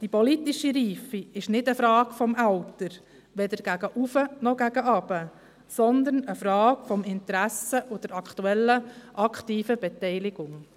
Die politische Reife ist keine Frage des Alters, weder gegen oben, noch gegen unten, sondern eine Frage des Interesses und der aktuellen aktiven Beteiligung.